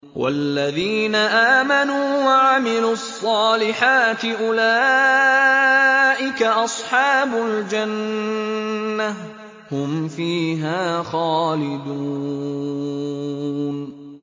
وَالَّذِينَ آمَنُوا وَعَمِلُوا الصَّالِحَاتِ أُولَٰئِكَ أَصْحَابُ الْجَنَّةِ ۖ هُمْ فِيهَا خَالِدُونَ